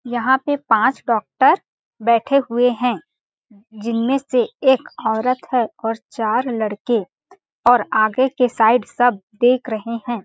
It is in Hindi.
यहाँ पे पांच डॉक्टर बैठे हुए है जिनमें से एक औरत है और चार लड़के और आगे के साइड सब देख रहे हैं।